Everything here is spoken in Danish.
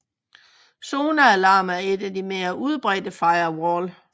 ZoneAlarm er en af de mere udbredte firewall